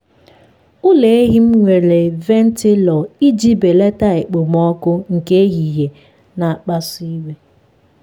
ụlọ ehi m nwere ventụlọ iji belata okpomọkụ nke ehihie na-akpasu iwe.